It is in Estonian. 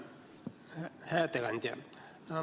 Hää ettekandja!